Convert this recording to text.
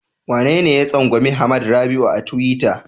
Wanene ya tsangwami Hamad Rabi'u a tiwita?